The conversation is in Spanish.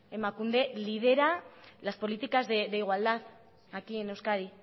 emakunde lidera las políticas de igualdad aquí en euskadi